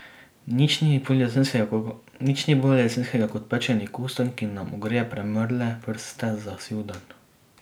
Nič ni bolj jesenskega kot pečeni kostanj, ki nam ogreje premrle prste za siv dan.